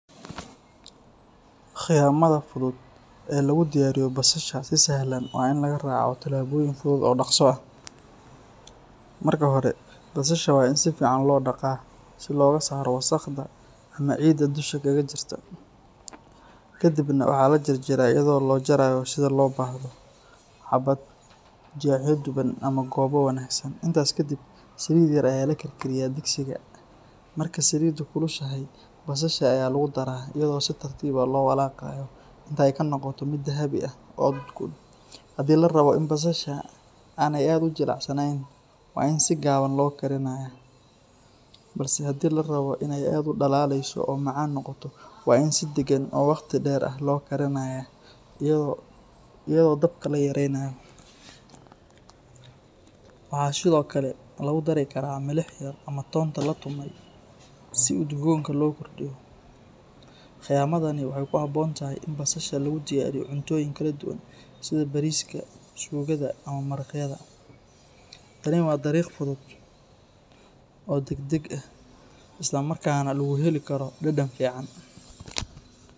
Khiyamada fudud ee lagu diyaariyo basasha si sahlan waa in la raaco tallaabooyin fudud oo dhaqso ah. Marka hore, basasha waa in si fiican loo dhaqaa si looga saaro wasakhda ama ciidda dusha kaga jirta. Kadibna, waxaa la jarjaraa iyadoo loo jarayo sida loo baahdo – xabad, jeexyo dhuuban ama goobo wareegsan. Intaas kadib, saliid yar ayaa la karkariyaa digsiga, marka saliiddu kulushahay, basasha ayaa lagu daraa iyadoo si tartiib ah loo walaaqayo ilaa ay ka noqoto mid dahabi ah oo udgoon. Haddii la rabo in basasha aanay aad u jilicsanayn, waa in si gaaban loo karinayaa. Balse haddii la rabo in ay aad u dhalaalayso oo macaan noqoto, waa in si deggan oo waqti dheer ah loo karinayaa iyadoo dabka la yaraynayo. Waxaa sidoo kale lagu dari karaa milix yar ama toonta la tumay si udgoonka loo kordhiyo. Khiyamadani waxay ku habboon tahay in basasha lagu diyaariyo cuntooyin kala duwan sida bariiska, suugada ama maraqyada. Tani waa dariiq fudud oo degdeg ah, isla markaana lagu heli karo dhadhan fiican.